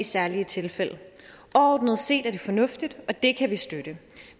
særlige tilfælde overordnet set er det fornuftigt og det kan vi støtte